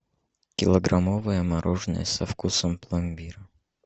килограммовое мороженое со вкусом пломбира